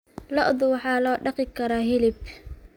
Lo'da waxaa loo dhaqi karaa hilib.